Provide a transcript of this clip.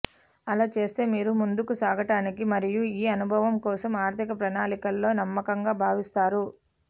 అలా చేస్తే మీరు ముందుకు సాగటానికి మరియు ఈ అనుభవం కోసం ఆర్థిక ప్రణాళికలో నమ్మకంగా భావిస్తారు